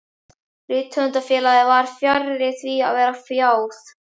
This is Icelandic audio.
Rithöfundafélagið var fjarri því að vera fjáð.